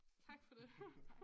Tak for det